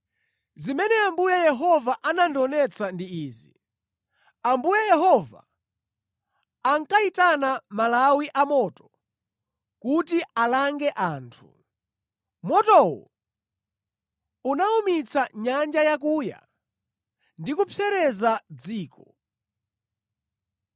Zimene Ambuye Yehova anandionetsa ndi izi: Ambuye Yehova ankayitana malawi a moto kuti alange anthu. Motowo unawumitsa nyanja yakuya ndi kupsereza dziko.